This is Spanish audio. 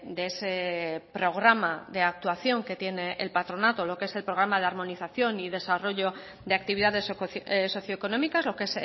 de ese programa de actuación que tiene el patronato lo que es el programa de armonización y desarrollo de actividades socioeconómicas lo que